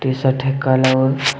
ये शर्ट है काला और--